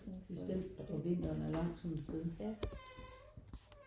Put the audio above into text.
Bestemt og forbindelserne er langt sådan et sted